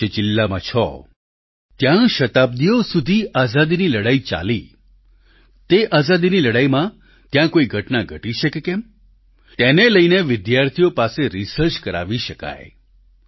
જેમ કે આપ જે જિલ્લામાં છો ત્યાં શતાબ્દિઓ સુધી આઝાદીની લડાઈ ચાલી તે આઝાદીની લડાઈમાં ત્યાં કોઈ ઘટના ઘટી છે કે કેમ તેને લઈને વિદ્યાર્થીઓ પાસે રિસર્ચ કરાવી શકાય